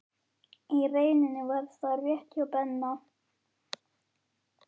Í rauninni var það rétt hjá Benna.